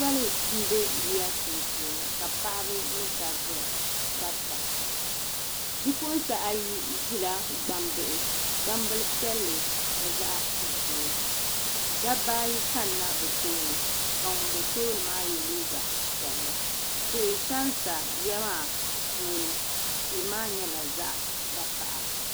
Soli m be yiya sunsuuni ka paɣaba mini dabba garita bi'puɣinsi ayi ʒila gbambihi gbambila piɛlli ni zaɣa ʒee dabba ayi kanna bɛ tooni ka ŋun be tooni maa ye liiga piɛlli tihi sansa yiya maa puuni tihi maa nyɛla zaɣa vakaha.